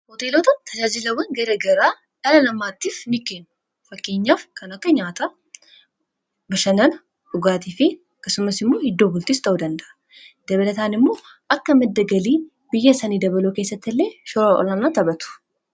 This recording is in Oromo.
Hoteelota tajaajilawwan garagaraa dhala lammaattiif mikkeen fakkiinyaaf kan akka nyaata bishanan dhugaatii fi kasumas immoo hiddoo bultis taodanda dabalataan immoo akka madda galii biyya sanii dabaloo keessatti illee shoora olaanaa taphatu.